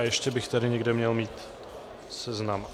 A ještě bych tady někde měl mít seznam.